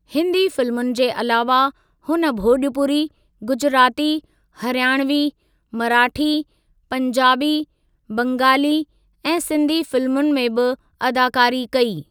हिन्दी फिल्मुनि जे अलावा, हुन भोॼपुरी, गुजराती, हरियाणवी, मराठी, पंजाबी, बंगाली ऐं सिंधी फिल्मुनि में बि अदाकारी कई।